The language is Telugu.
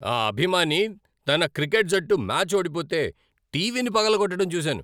ఆ అభిమాని తన క్రికెట్ జట్టు మ్యాచ్ ఓడిపోతే టీవీని పగలగొట్టడం చూసాను.